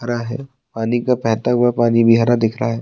हरा है पानी का बेहता हुआ पानी भी हरा दिख रहा है।